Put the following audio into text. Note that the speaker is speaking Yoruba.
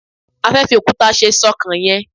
a fe fi okuta se ṣọkan yen